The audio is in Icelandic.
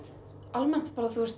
almennt